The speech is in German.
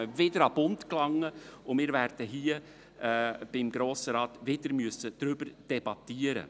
Man müsste damit wieder an den Bund gelangen und im Grossen Rat wieder darüber debattieren.